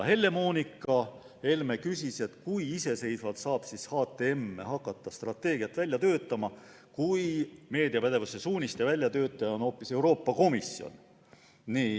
Helle-Moonika Helme küsis, kui iseseisvalt saab HTM hakata strateegiat välja töötama, kui meediapädevuse suuniste väljatöötaja on hoopis Euroopa Komisjon.